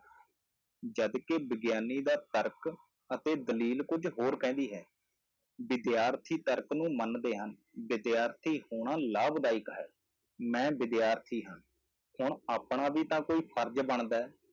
ਜਦ ਕਿ ਵਿਗਿਆਨੀ ਦਾ ਤਰਕ ਅਤੇ ਦਲੀਲ ਕੁੱਝ ਹੋਰ ਕਹਿੰਦੀ ਹੈ, ਵਿਦਿਆਰਥੀ ਤਰਕ ਨੂੰ ਮੰਨਦੇ ਹਨ, ਵਿਦਿਆਰਥੀ ਹੋਣਾ ਲਾਭਦਾਇਕ ਹੈ, ਮੈਂ ਵਿਦਿਆਰਥੀ ਹਾਂ, ਹੁਣ ਆਪਣਾ ਵੀ ਤਾਂ ਕੋਈ ਫ਼ਰਜ਼ ਬਣਦਾ ਹੈ,